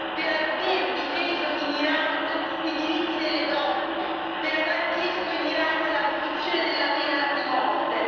per aver difeso in Iran i diritti delle donne, per aver chiesto in Iran l'abolizione della pena di morte.